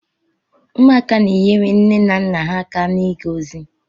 Ụmụaka na-enyere nne na nna ha aka n'iga ozi.